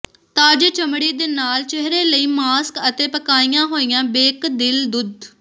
ਤਾਜ਼ੇ ਚਮੜੀ ਦੇ ਨਾਲ ਚਿਹਰੇ ਲਈ ਮਾਸਕ ਅਤੇ ਪਕਾਈਆਂ ਹੋਈਆਂ ਬੇਕਦਿਲ ਦੁੱਧ